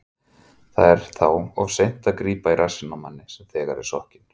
Það er þá of seint að grípa í rassinn á manni sem þegar er sokkinn.